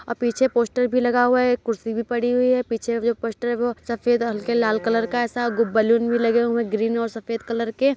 और पीछे पोस्टर भी लगा हुआ है एक कुर्सी पड़ी हुई है पीछे जो पोस्टर है वो सफेद और हल्के लाल कलर का ऐसा बलून भी लगे हुए हैं ग्रीन और सफेद कलर के --